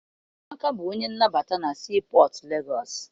Amaka bụ onye nnabata na sii pọtụ Legọọsị.